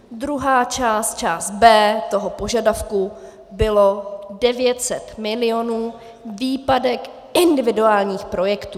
Druhá část, část B toho požadavku, bylo 900 milionů - výpadek individuálních projektů.